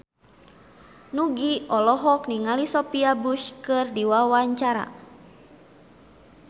Nugie olohok ningali Sophia Bush keur diwawancara